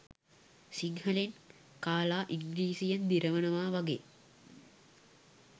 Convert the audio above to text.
සිංහලෙන් කාලා ඉංග්‍රිසියෙන් දිරවනවා වගේ